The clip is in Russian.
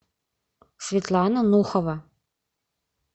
светлана нухова